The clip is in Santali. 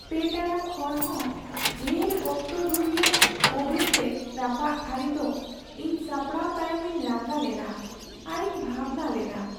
᱓ ᱴᱟᱲᱟᱝ ᱠᱷᱚᱱ ᱦᱚᱸ ᱰᱷᱮᱨ ᱚᱠᱛᱚ ᱫᱷᱩᱨᱭᱟᱹ ᱳᱵᱷᱮᱱ ᱨᱮ ᱨᱟᱯᱟᱜ ᱛᱷᱟᱹᱨᱤ ᱫᱚ ᱤᱧ ᱥᱟᱯᱲᱟᱣ ᱛᱟᱭᱚᱢᱤᱧ ᱞᱟᱸᱜᱟ ᱞᱮᱱᱟ ᱟᱨᱤᱧ ᱵᱷᱟᱵᱽᱱᱟ ᱞᱮᱱᱟ ᱾